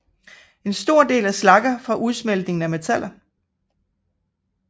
En stor del er slagger fra udsmeltning af metaller